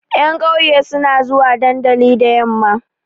Ƴan ƙauye suna zuwa dandali da yamma.